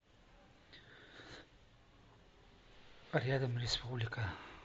рядом республика